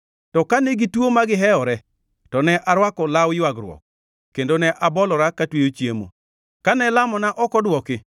To kane gituo magihewore to ne arwako law ywagruok kendo ne abolora katweyo chiemo. Kane lamona ok odwoki,